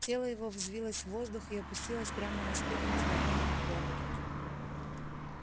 тело его взвилось в воздух и опустилось прямо на спину незнакомому богу